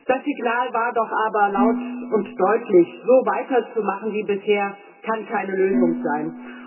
Das Signal war doch aber laut und deutlich So weiterzumachen wie bisher, kann keine Lösung sein.